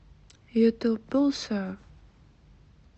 ютуб булсар